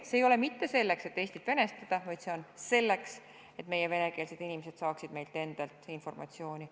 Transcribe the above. See ei ole mitte selleks, et Eestit venestada, vaid see on selleks, et meie venekeelsed inimesed saaksid meilt endalt informatsiooni.